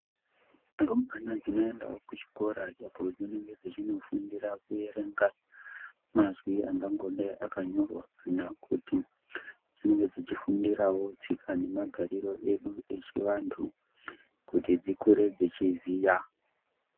Nhumbwana dzinoendawo kuchikora apo dzinenge dzechinofundira kuerenga mazwi angangodai akanyorwa kana kuti dzinenge dzichifundirwo tsika dzedu nemagariro kuti dzikure dzeiziya.